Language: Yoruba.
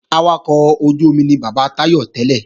Awakọ̀ ojú-omi ni bàbá Táyọ̀ tẹ́lẹ̀